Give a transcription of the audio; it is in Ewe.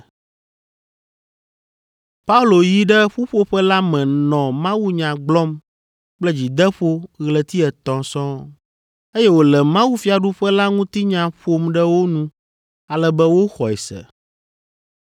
Paulo yi ɖe ƒuƒoƒe la me nɔ mawunya gblɔm kple dzideƒo ɣleti etɔ̃ sɔŋ, eye wòle mawufiaɖuƒe la ŋutinya ƒom ɖe wo nu ale be woxɔe se.